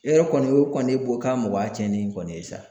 E yɛrɛ kɔni o kɔni bɔ k'a mɔgɔya cɛnnen kɔni ye sa.